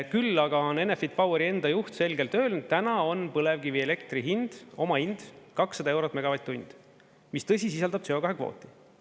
Küll aga on Enefit Poweri enda juht selgelt öelnud, et täna on põlevkivielektri hind – omahind – 200 eurot megavatt-tund, mis, tõsi, sisaldab CO2 kvooti.